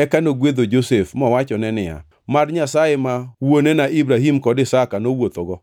Eka nogwedho Josef mowachone niya, “Mad Nyasaye ma wuonena Ibrahim kod Isaka nowuothogo,